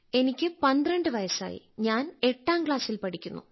എനിക്ക് 12 വയസ്സായി ഞാൻ എട്ടാം ക്ലാസ്സിൽ പഠിക്കുന്നു